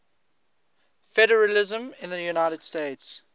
federalism in the united states